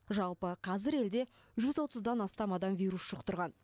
жалпы қазір елде жүз отыздан астам адам вирус жұқтырған